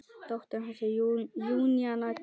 Dóttir hans er Júníana Tinna.